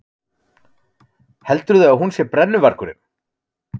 Heldurðu að hún sé brennuvargurinn?